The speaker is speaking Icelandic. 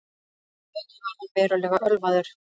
Að auki var hann verulega ölvaður